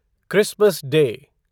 Christmas day